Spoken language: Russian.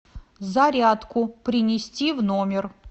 зарядку принести в номер